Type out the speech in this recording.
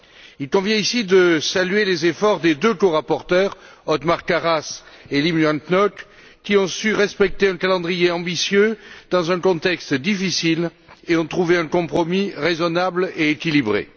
Il convient ici de saluer les efforts des deux corapporteurs, Othmar Karas et Liem Hoang Ngoc, qui ont su respecter un calendrier ambitieux dans un contexte difficile et qui ont trouvé un compromis raisonnable et équilibré.